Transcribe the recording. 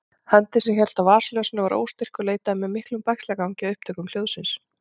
Höndin sem hélt á vasaljósinu var óstyrk og leitaði með miklum bægslagangi að upptökum hljóðsins.